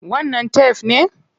Wannan tef ne?